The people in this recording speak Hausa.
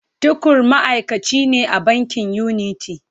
Tukur ma’aikaci ne a bankin Unity.